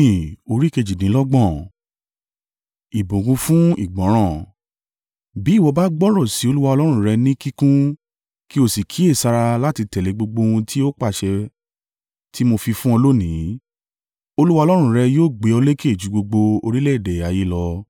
Bí ìwọ bá gbọ́rọ̀ sí Olúwa Ọlọ́run rẹ ní kíkún kí o sì kíyèsára láti tẹ̀lé gbogbo ohun tí ó pàṣẹ tí mo fi fún ọ lónìí, Olúwa Ọlọ́run rẹ yóò gbé ọ lékè ju gbogbo orílẹ̀-èdè ayé lọ.